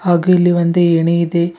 ಹಾಗೂ ಇಲ್ಲಿ ಒಂದು ಏಣಿ ಇದೆ.